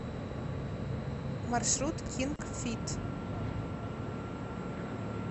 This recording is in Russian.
маршрут кинг фит